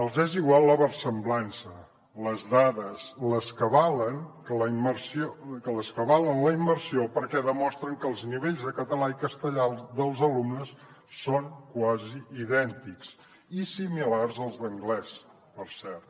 els és igual la versemblança les dades les que avalen la immersió perquè demostren que els nivells de català i castellà dels alumnes són quasi idèntics i similars als d’anglès per cert